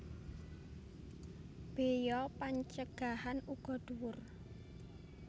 Béya pancegahan uga dhuwur